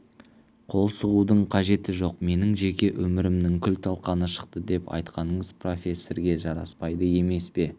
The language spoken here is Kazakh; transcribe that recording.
қол сұғудың қажеті жоқ менің жеке өмірімнің күл-талқаны шықты деп айтқаныңыз профессорге жараспайды емес пе